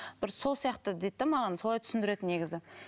бір сол сияқты дейді де маған солай түсіндіреді негізі